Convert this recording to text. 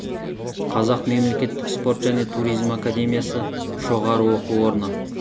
қазақ мемлекеттік спорт және туризм академиясы жоғары оқу орны